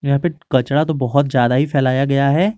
यहां पे कचरा तो बहुत ज्यादा ही फैलाया गया है।